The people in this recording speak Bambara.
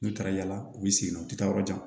N'u taara yaala u bɛ segin nɔ u tɛ taa yɔrɔ jan